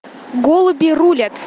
голуби рулят